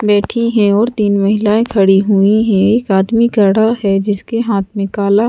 बैठी हैं और तीन महिलाएं खड़ी हुई हैं एक आदमी खड़ा है जिसके हाथ में काला--